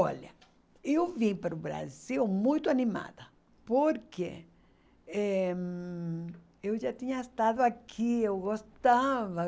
Olha, eu vim para o Brasil muito animada, porque eh hum eu já tinha estado aqui, eu gostava.